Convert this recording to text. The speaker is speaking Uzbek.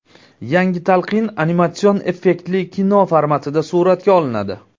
Yangi talqin animatsion effektli kino formatida suratga olinadi.